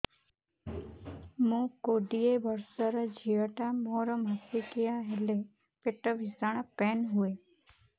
ମୁ କୋଡ଼ିଏ ବର୍ଷର ଝିଅ ଟା ମୋର ମାସିକିଆ ହେଲେ ପେଟ ଭୀଷଣ ପେନ ହୁଏ